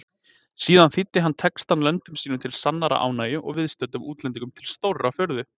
Síðan þýddi hann textann löndum sínum til sannrar ánægju og viðstöddum útlendingum til stórrar furðu.